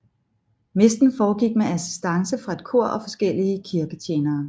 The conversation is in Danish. Messen foregik med assistance fra et kor og forskellige kirketjenere